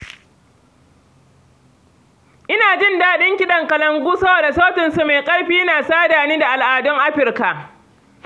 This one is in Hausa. Ina jin daɗin kalangu saboda sautinsa mai ƙarfi na sada ni da al’adun Afirka.